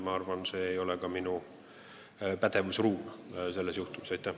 Ma arvan, et see ei oleks kõnealuse juhtumi korral ka minu pädevuses.